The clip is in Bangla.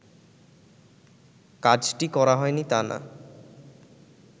কাজটি করা হয়নি তা না